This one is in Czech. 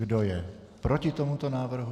Kdo je proti tomuto návrhu?